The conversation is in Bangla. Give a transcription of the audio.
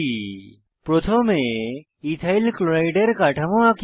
প্রথমে ইথাইল ক্লোরাইড ইথাইল ক্লোরাইড এর কাঠামো আঁকি